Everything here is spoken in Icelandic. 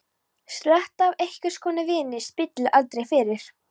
Sletta af einhvers konar víni spillir aldrei fyrir.